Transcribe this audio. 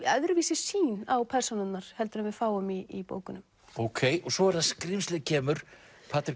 öðruvísi sýn á persónurnar heldur en við fáum í bókunum ókei og svo er það skrímslið kemur